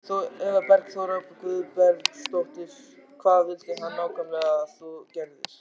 Eva Bergþóra Guðbergsdóttir: Hvað vildi hann nákvæmlega að þú gerðir?